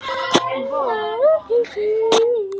Sindri: Aldrei áður veitt?